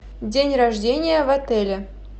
день рождения в отеле